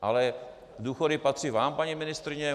Ale důchody patří vám, paní ministryně.